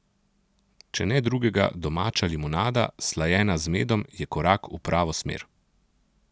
Če ne drugega, domača limonada, slajena z medom, je korak v pravo smer!